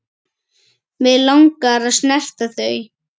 Mig langar að snerta þau.